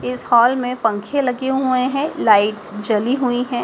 इस हॉल में पंखे लगे हुए हैं लाइट्स जली हुई हैं।